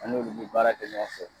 An n'olu bɛ baara kɛ ɲɔgɔn fɛ.